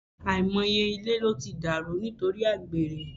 Àìmọye ilé ló ti dàrú nítorí àgbèrè